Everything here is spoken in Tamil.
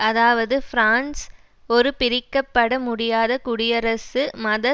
அதாவது பிரான்ஸ் ஒரு பிரிக்க பட முடியாத குடியரசு மத